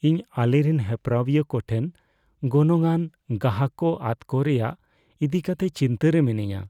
ᱤᱧ ᱟᱞᱮᱨᱮᱱ ᱦᱮᱯᱨᱟᱣᱤᱭᱟᱹ ᱠᱚᱴᱷᱮᱱ ᱜᱚᱱᱚᱝᱼᱟᱱ ᱜᱟᱦᱟᱠ ᱠᱚ ᱟᱫᱽᱼᱠᱚ ᱨᱮᱭᱟᱜ ᱤᱫᱤ ᱠᱟᱛᱮ ᱪᱤᱱᱛᱟᱹ ᱨᱮ ᱢᱤᱱᱟᱹᱧᱟ ᱾